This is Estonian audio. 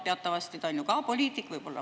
Teatavasti ta on ju ka poliitik.